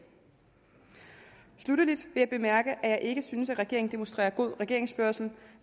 sluttelig bemærke at jeg ikke synes at regeringen demonstrerer god regeringsførelse